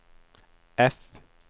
F